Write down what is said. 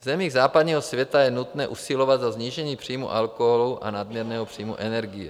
V zemích západního světa je nutné usilovat o snížení příjmu alkoholu a nadměrného příjmu energie.